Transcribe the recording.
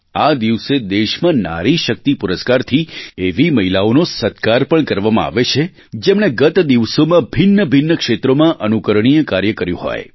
આ દિવસે દેશમાં નારી શક્તિ પુરસ્કારથી એવી મહિલાઓનો સત્કાર પણ કરવામાં આવે છે જેમણે ગત દિવસોમાં ભિન્નભિન્ન ક્ષેત્રોમાં અનુકરણીય કાર્ય કર્યું હોય